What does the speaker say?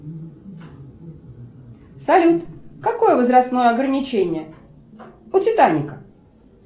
салют какое возрастное ограничение у титаника